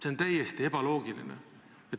See on täiesti ebaloogiline.